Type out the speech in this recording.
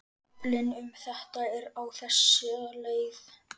Kaflinn um þetta er á þessa leið